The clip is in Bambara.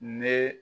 Ne